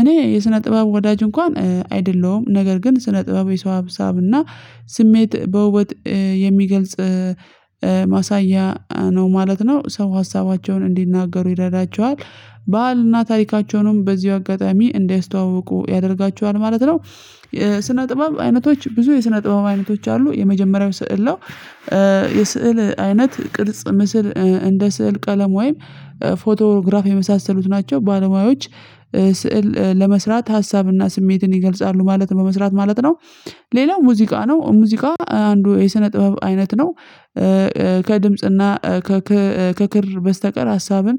እኔ የስነ ጥበብ ወዳጅ እንኳን አይደለሁም ነገር ግን ስነ ጥበብ የሰው አሰብና ስሜት በውበት የሚገልጽ ማሳያ ነው ማለት ነው። ሰው ሀሳባቸውን እንዲናገሩ ይረዳቸዋል ባህልና ታሪካቸውንም በዚሁ አጋጣሚ እንዲያስተዋውቁ ያደርጋቸዋል ማለት ነው። የስነ ጥበብ አይነቶች ብዙ የስነ ጥበብ አይነቶች አሉ የመጀመሪያው ስዕል ነው። እ የስዕል አይነት ቅርጽ ምስል እንደ ስዕል ቀለም ወይም ፎቶግራፍ የመሳሰሉት ናቸው። ባለሙያዎች ስዕል ለመስራት ሀሳብና ስሜትን ይገልጻሉ ማለት በመስራት ማለት ነው። ሌላው ሙዚቃ ነው ሙዚቃ አንዱ የስነ ጥበብ አይነት ነው። እ እ ከድምጽና ከክር በስተቀር ሀሳብን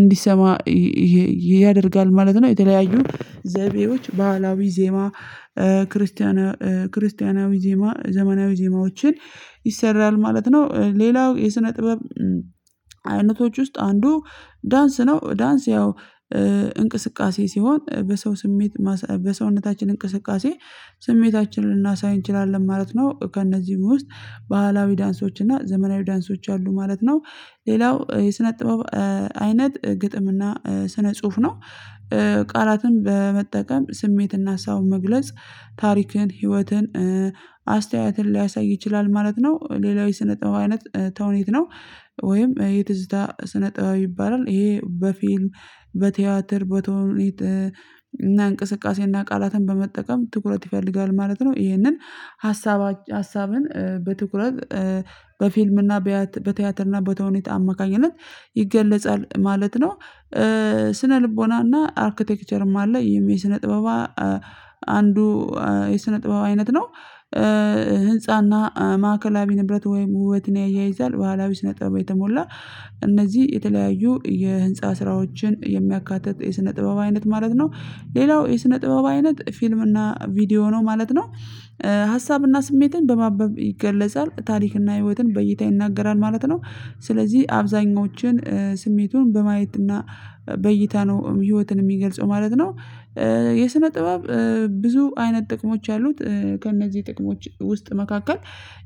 እንዲሰማ ይ ይ ያደርጋል ማለት ነው። የተለያዩ ዘይቤዎች ባህላዊ ዜማ እ ክርስቲያናዊ ክርስቲያናዊ ዜማ ዘመናዊ ዜማዎችን ይሰራል ማለት ነው። ሌላው የስነ ጥበብ አይነቶች ውስጥ አንዱ ዳንስ ነው ዳንስ ያው እንቅስቃሴ ሲሆን በሰው ስሜት በሰውነታችን እንቅስቃሴ ስሜታችንን ልናሳይ እንችላለን ማለት ነው። ከእነዚህ ውስጥ ባህላዊ ዳንሶች እና ዘመናዊ ዳንሶች አሉ ማለት ነው። ሌላው የስነ ጥበብ እ አይነት ግጥምና ስነ ጽሁፍ ነው። ቃላትን በመጠቀም ስሜትና ሀሳቡ መግለጽ ታሪክን ህይወትን አስተያየትን ሊያሳይ ይችላል ማለት ነው። ሌላው የሰነጠበው አይነት ተውኔት ነው። ወይም የትዝታ ስነጥበብ ይባላል ይሄ በፊልም በቲያትር በተውኔት እና እንቅስቃሴ እና ቃላትን በመጠቀም ትኩረት ይፈልጋል ማለት ነው። ይሄንን ሀሳብ ሀሳብን በትኩረት እ በፊልምና በቲያትርና በተውኔት አማካኝነት ይገለጻል ማለት ነው። እ ስነ ልቦናና አርክቴክቸርም አለ የስነ ጥበባ አንዱ የስነጥበብ አይነት ነው። እ ህንፃና ማዕከላዊ ንብረት ወይም ውበትን ያያይዛል ባህላዊ ስነ ጥበብን የተሞላ የተለያዩ የህንፃ ስራዎችን የሚያካትት የስነ ጥበብ አይነት ማለት ነው። ሌላው የስነ ጥበብ አይነት ፊልም እና ቪዲዮ ነው ማለት ነው። ሀሳብና ስሜትን በማበብ ይገለጻል ታሪክና ህይወትን በይታ ይናገራል ማለት ነው። ስለዚህ አብዛኞችን ስሜቱን በማየትና በይታ ነው ህይወትን የሚገልጸው ማለት ነው። እ የስነ ጥበብ ብዙ አይነት ጥቅሞች ያሉት ከእነዚህ ጥቅሞች ውስጥ መካከል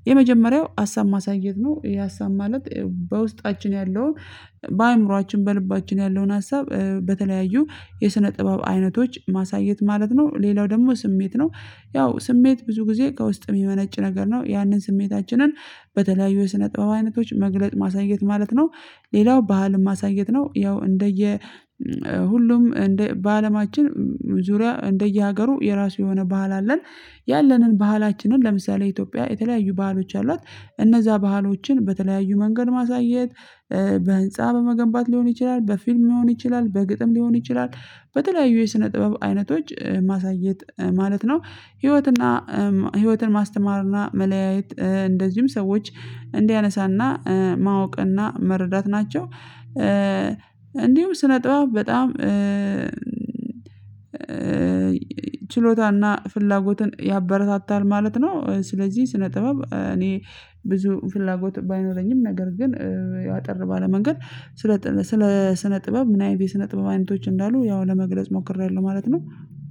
የመጀመሪያው ሀሳብ ማሳየት ነው የሀሳብ ማለት በውስጣችን ያለው በአእምሮአችን በል ይባችን ያለውን ሀሳብ በተለያዩ የስነ ጥበብ አይነቶች ማሳየት ማለት ነው። ሌላው ደግሞ ስሜት ነው። ያው ስሜት ብዙ ጊዜ ከውስጥ የሚመነጭ ነገር ነው ያንን ስሜታችንን በተለያዩ የስነ ጥበብ አይነቶች መግለጥ ማሳየት ማለት ነው። ሌላው ባህልን ማሳየት ነው። ያው እንደየ ሁሉም እንደ በአለማችን ዙሪያ እንደየሀገሩ የራሱ የሆነ ባህል አለን። ያለንን ባህላችንን ለምሳሌ ኢትዮጵያ የተለያዩ ባህሎች አሏት። እነዛ ባህሎችን በተለያዩ መንገድ ማሳየት በህንፃ በመገንባት ሊሆን ይችላል በፊልም ሊሆን ይችላል በግጥም ሊሆን ይችላል በተለያዩ የስነ ጥበብ አይነቶች ማሳየት ማለት ነው። ህይወትና ህይወትን ማስተማርና መለያየት እንደዚሁም ሰዎች እንዲያነሳና ማወቅና መረዳት ናቸው። እንዲሁም ስነጥበባት በጣም ችሎታና ፍላጎትን ያበረታታል ማለት ነው። ስለዚህ ስነ ጥበብ እኔ ብዙ ፍላጎት ባይኖረኝም ነገር ግን ያው አጠር ባለ መንገድ ስለ ስለጥ ስነ ጥበብ ምይነት የስነ ጥበብ አይነቶች እንዳሉ ያው ለመግለጽ ሞክሬያለሁ ማለት ነው።